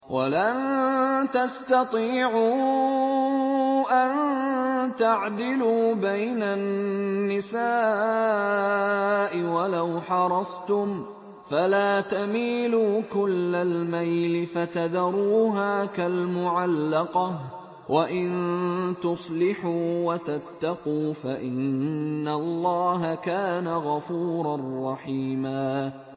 وَلَن تَسْتَطِيعُوا أَن تَعْدِلُوا بَيْنَ النِّسَاءِ وَلَوْ حَرَصْتُمْ ۖ فَلَا تَمِيلُوا كُلَّ الْمَيْلِ فَتَذَرُوهَا كَالْمُعَلَّقَةِ ۚ وَإِن تُصْلِحُوا وَتَتَّقُوا فَإِنَّ اللَّهَ كَانَ غَفُورًا رَّحِيمًا